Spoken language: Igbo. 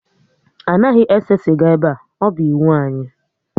Anaghị ese sịga ebe a, ọ bụ iwu anyị